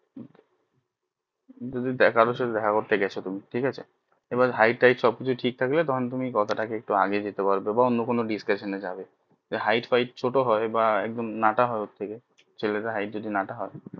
কারোর সাথে দেখা করতে গেছো কোনো ঠিক আছে এবার hight টাইট সব কিছু ঠিক থাকলে তখন তুমি কথা টা কে একটু এগিয়ে দিতে পারবে বা অন্য কোনো discussion যাবে এ hight ফাইট ছোট হয় বা একদম নাটা হয় ছেলেদের hight যদি নাটা হয়